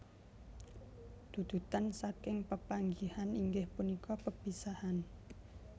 Dudutan saking pepanggihan inggih punika pepisahan